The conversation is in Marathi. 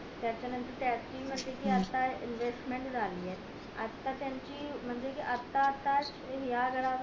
त्याच्या नंतर त्याची म्हणजेआता इनव्हेसमेंट झाली ये आता त्याची म्हणजे आता आता या घरावर